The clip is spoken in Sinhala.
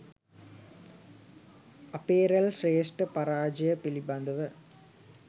අපේ්‍රල් ශ්‍රේෂ්ඨ පරාජය පිළිබඳව